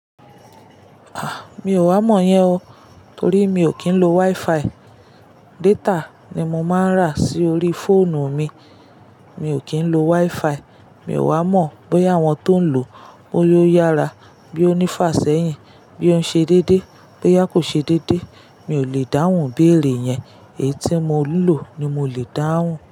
A! Mi ò wá mọ̀ yẹn o. Torí mi ò kí ń lo WiFi. Data ni mo máa ń rà sí orí fóònù mi. Mi ò kí ń lo WiFi. Mi ò wá mọ̀ bóyá àwọn tó ń lò ó, bóyá ó yára, bóyá ó ní fàsẹ́yìn, bóyá òun ṣe dédé, bóyá kò ṣe dédé. Mi ò lè dáhùn bí èrè yẹn. Èyí tí mo ń lò ni mo lè dáhùn.